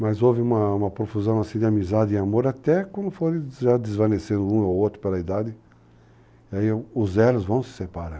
Mas houve uma profusão assim de amizade e amor até quando foram desvanecer um ou outro pela idade, aí os erros vão se separando.